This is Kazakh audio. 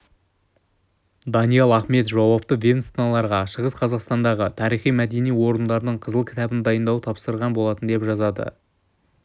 даниал ахметов жауапты ведомстволарға шығыс қазақстандағы тарихи-мәдени орындардың қызыл кітабын дайындауды тапсырған болатын деп жазады